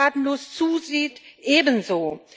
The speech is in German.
Und wer tatenlos zusieht, ebenso.